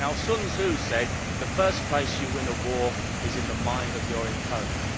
Sun Tzu said that the first place you win a war is in the mind of your opponent.